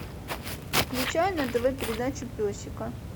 включай на тв передачу песика